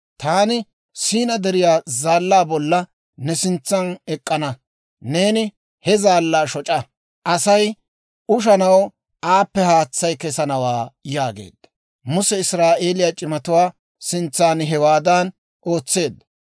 Taani Siinaa Deriyaa zaallaa bolla ne sintsan ek'k'ana; neeni he zaallaa shoc'a; Asay ushanaw aappe haatsay kesanawaa» yaageedda. Muse Israa'eeliyaa c'imatuwaa sintsan hewaadan ootseedda.